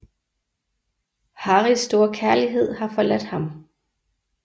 Harris store kærlighed har forladt ham